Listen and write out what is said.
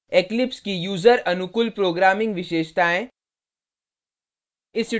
eclipse की user अनुकूल programming विशेषताएँ